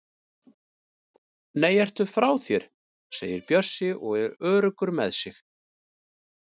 Nei, ertu frá þér! segir Bjössi og er öruggur með sig.